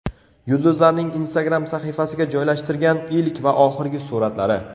Yulduzlarning Instagram sahifasiga joylashtirgan ilk va oxirgi suratlari .